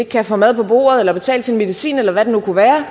kan få mad på bordet eller betale sin medicin eller hvad det nu kunne være